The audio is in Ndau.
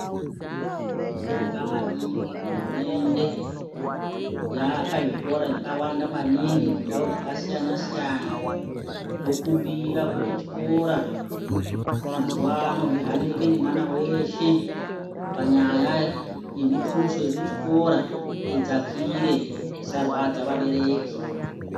Tobonga maningi hurumende, yaaka zvikora zvakawanda maningi mundau dzakasiyana -siyana. Tokumbira kuti chikora, mazuwano zvihanirike ngemwana weshe, panyaya yemuthuso yekuchikora idzakire isarwadza vabereki